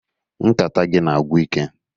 Nkata gị a na-agwụ ike